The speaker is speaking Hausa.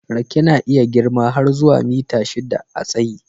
Rake na iya girma har zuwa mita shidda a tsayi.